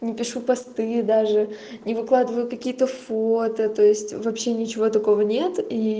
не пишу посты даже не выкладываю какие то фото то есть вообще ничего такого нет и